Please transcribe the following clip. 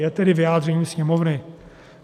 Je tedy vyjádřením Sněmovny.